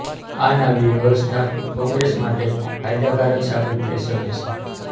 આ નવી વ્યવસ્થા કોંગ્રેસ માટે ફાયદાકારક સાબિત થઇ શકે છે